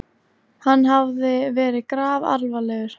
Hann hafði verið grafalvarlegur.